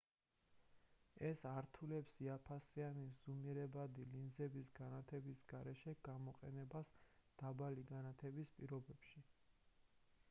ეს ართულებს იაფფასიანი ზუმირებადი ლინზების განათების გარეშე გამოყენებას დაბალი განათების პირობებში